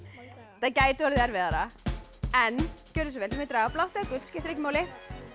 þetta gæti orðið erfiðara en gjörið svo vel þið megið draga blátt eða gult skiptir ekki máli